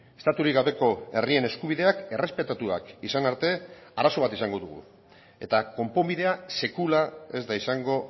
estaturik gabeko herrien eskubideak errespetatuak izan arte arazo bat izango dugu eta konponbidea sekula ez da izango